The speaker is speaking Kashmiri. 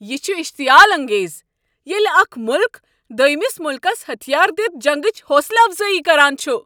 یہ چھُ اشتعیال انگیز ییلہ اكھ ملک دوٚیمِس ملکس ۂتھیار دِتھ جنگچ حوصلہٕ افضٲیی کران چھُ۔